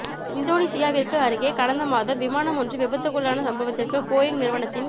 இந்தோனீசியாவிற்கு அருகே கடந்த மாதம் விமானம் ஒன்று விபத்துக்குள்ளான சம்பவத்திற்கு போயிங் நிறுவனத்தின்